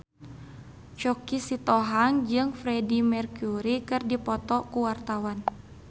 Choky Sitohang jeung Freedie Mercury keur dipoto ku wartawan